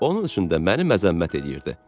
Onun üçün də məni məzəmmət eləyirdi.